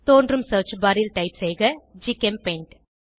தோன்றும் search bar ல் type செய்க ஜிசெம்பெயிண்ட்